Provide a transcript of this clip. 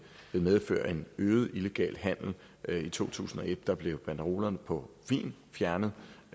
medføre en øget illegal handel i to tusind og et blev banderolerne på vin fjernet